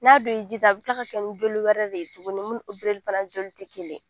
N'a dun ye ji ta a bɛ tila ka kɛ joli wɛrɛ de ye tuguni mun ni fana joli tɛ kelen ye